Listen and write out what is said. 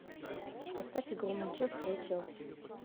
поставь игру манчестера и челси